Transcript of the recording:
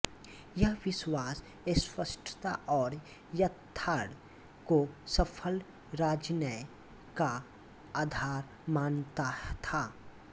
यह विश्वास स्पष्टता और यथार्थ को सफल राजनय का आधार मानता था